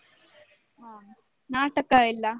ಹ ನಾಟಕ ಎಲ್ಲ?